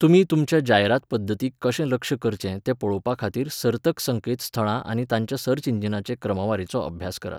तुमी तुमच्या जायरात पद्दतीक कशें लक्ष्य करचें तें पळोवपाखातीर सर्तक संकेतथळां आनी तांच्या सर्च इंजिनांचे क्रमवारीचो अभ्यास करात.